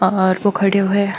और वो खड़यो है।